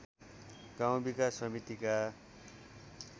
गाउँ विकास समितिका